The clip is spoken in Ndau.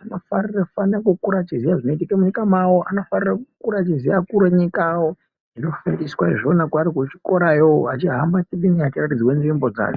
anofanire kukura achaziya zvinoitike munyika mavo, anofanira kukura achiziya vakuru venyika yavo zvinofundiswa vari kuzvikorayo achihamba nenyika achiratidzwa nzvimbo dza...